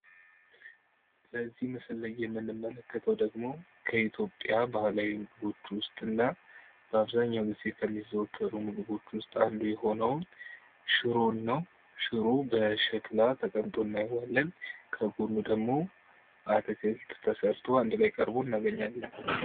በዚህ ምስል ላይ የምንመለከተው ደግሞ ከኢትዮጵያ ባህላዊ ምግቦች ውስጥ እና በአብዛኛው ጊዜ ከሚዛወሩት ምግቦች ውስጥ አንዱ የሆነውን ሽሮን ነው። ሽሮ በሸክላ ተቀምጦ እናየዋለን ከጎኑ ደግሞ አትክልት ተሰርቶ አንድ ላይ ቀርቦ እናያለን።